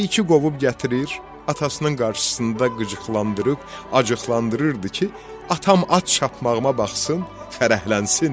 Keyiki qovub gətirir, atasının qarşısında qıcıqlandırıb, acıqlandırırdı ki, atam at çapmağıma baxsın, fərəhlənsin.